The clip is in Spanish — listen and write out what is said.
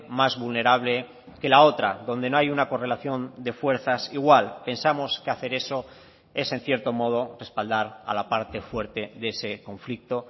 más vulnerable que la otra donde no hay una correlación de fuerzas igual pensamos que hacer eso es en cierto modo respaldar a la parte fuerte de ese conflicto